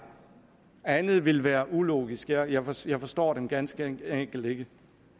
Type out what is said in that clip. andet vil være ulogisk jeg forstår jeg forstår dem ganske enkelt ikke